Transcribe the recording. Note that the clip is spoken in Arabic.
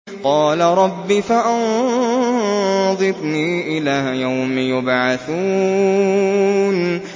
قَالَ رَبِّ فَأَنظِرْنِي إِلَىٰ يَوْمِ يُبْعَثُونَ